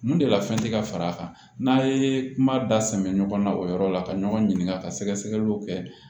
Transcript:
Mun de la fɛn tɛ ka fara a kan n'a ye kuma da sɛbɛ ɲɔgɔn na o yɔrɔ la ka ɲɔgɔn ɲininka ka sɛgɛsɛgɛliw kɛ